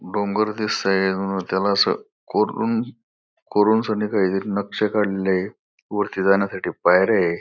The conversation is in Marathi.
डोंगर दिसतोय त्याला अस कोरून कोरून त्यांनी काहीतरी नक्षी काडलेल्या येत वरती जाण्यासाठी पायऱ्या ये.